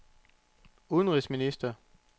udenrigsminister